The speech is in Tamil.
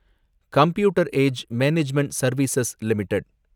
computer age management service limited